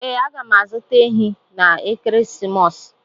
Ee, aga m azụta ehi n'ekeresimesi a.